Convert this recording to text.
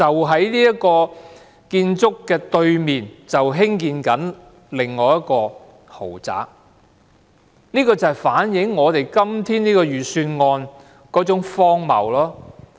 在這個單位對面，正在興建一個豪宅項目，正好反映我們今天這份預算案的荒謬。